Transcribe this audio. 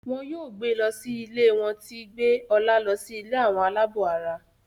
wón yóò gbé ló sì ilé wón tí gbé Ola ló sì ilé Àwọn alabó àrà.